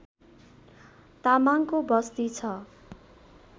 तामाङको बस्ती छ